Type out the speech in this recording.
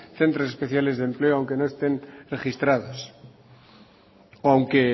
centros especiales de empleo aunque no estén registrados o aunque